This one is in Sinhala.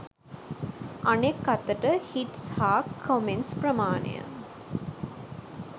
අනෙක් අතට හිට්ස් හා කොමෙන්ට්ස් ප්‍රමාණය